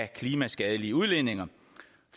klimaskadelige udledninger